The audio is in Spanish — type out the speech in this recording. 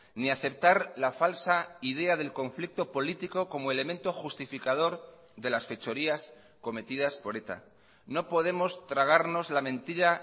ni aceptar la falsa idea del conflicto político como elemento justificador de las fechorías cometidas por eta no podemos tragarnos la mentira